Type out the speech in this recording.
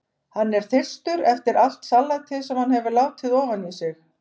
Hann er þyrstur eftir allt salatið sem hann hefur látið ofan í sig.